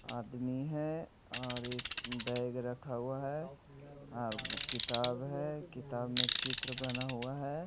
आदमी है और एक बैग रखा हुआ है और किताब है किताब में चित्र बना हुआ है।